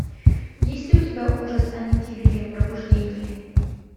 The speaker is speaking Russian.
есть ли у тебя ужас амитивилля пробуждение